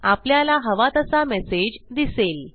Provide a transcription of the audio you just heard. आपल्याला हवा तसा मेसेज दिसेल